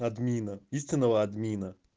админа истинного админа